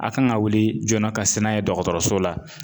A kan ka wuli joona ka se n'a ye dɔgɔtɔrɔso la